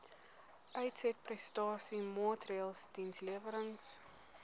uitsetprestasie maatreëls dienslewerings